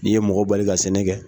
N'i ye mɔgɔ bali ka sɛnɛ kɛ